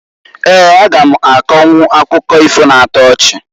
Eeǃ A ga m akọnwụ akụkọ ifo na-ato ochi.